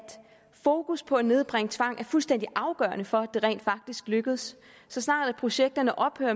fokus på at nedbringe tvang er fuldstændig afgørende for det rent faktisk lykkes så snart projektet ophører